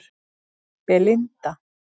Belinda